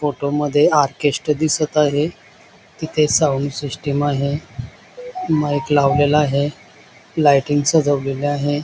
फोटोमध्ये आर्टिस्ट दिसत आहे तिथे साउंड सिस्टम आहे माईक लावलेला आहे लाईटिंग सजवलेली आहे.